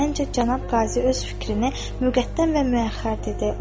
Məncə cənab Qazi öz fikrini müqəddəm və müəxxər dedi.